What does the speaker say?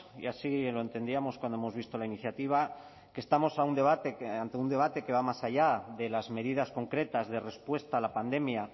y así lo entendíamos cuando hemos visto la iniciativa que estamos ante un debate que va más allá de las medidas concretas de respuesta a la pandemia